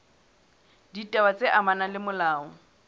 ditaba tse amanang le molao